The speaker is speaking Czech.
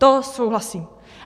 To souhlasím.